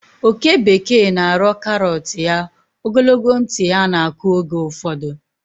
oke bekee na-arọ karọt ya, ogologo ntị ya na-akụ oge ụfọdụ.